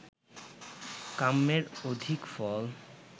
কাম্যের অধিক ফল